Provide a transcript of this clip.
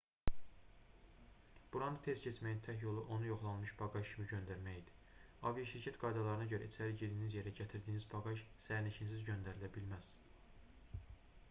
buranı tez keçməyin tək yolu onu yoxlanılmış baqaj kimi göndərmək idi aviaşirkət qaydalarına görə içəri girdiyiniz yerə gətirdiyiniz baqaj sərnişinsiz göndərilə bilməz